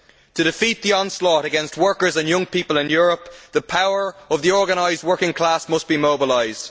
To defeat the onslaught against workers and young people in Europe, the power of the organised working class must be mobilised.